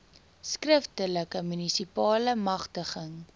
skriftelike munisipale magtiging